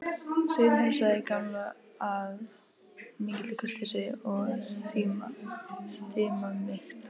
Sveinn heilsaði Gamla af mikilli kurteisi og stimamýkt.